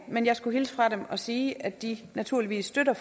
men jeg skulle hilse fra dem og sige at de naturligvis støtter